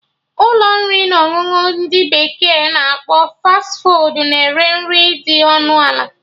Ụlọ nri na ọṅụṅụ ndị bekee na akpọ 'Fas fuud' na-ere nri dị ọnụ ala